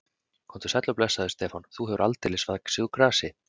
Komdu sæll og blessaður, Stefán, þú hefur aldeilis vaxið úr grasi.